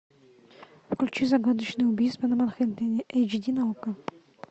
включи загадочное убийство на манхэттене эйч ди на окко